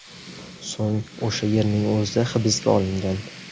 So‘ng o‘sha yerning o‘zida hibsga olingan.